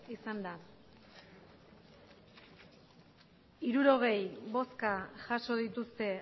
izan da hirurogei bozka jaso dituzte